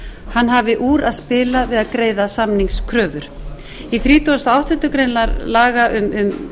hann hafi úr að spila við að greiða samningskröfur í þrítugasta og áttundu grein laga um